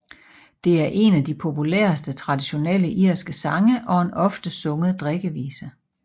Det er en af de populæreste traditionelle irske sange og en ofte sunget drikkevise